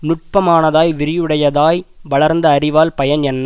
நுட்பமானதாய் விரிவுடையதாய் வளர்ந்த அறிவால் பயன் என்ன